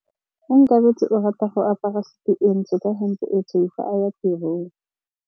Onkabetse o rata go apara sutu e ntsho ka hempe e tshweu fa a ya tirong.